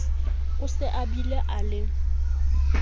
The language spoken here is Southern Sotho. o se abile a le